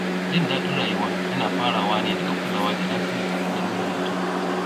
Jin daɗin rayuwa yana farawa ne daga kulawa da lafiya da ruhin mutum.